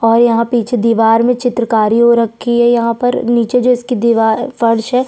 और यहाँ पिछे दिवार में चित्रकरी हो रखी यहाँ पर निचे जिसकी दिवा फर्श हैं --